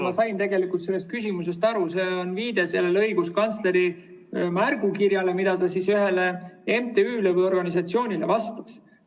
Ma sain tegelikult sellest küsimusest aru, seal oli viide õiguskantsleri märgukirjale, mida ta ühele MTÜ‑le või organisatsioonile vastas.